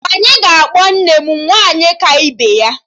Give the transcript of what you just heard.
Anyị ga-akpọ nne m 'Nwaanyị ka ibe ya'